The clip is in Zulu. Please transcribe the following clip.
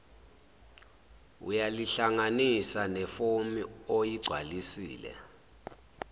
uyalihlanganisa nefomu oyigcwalisile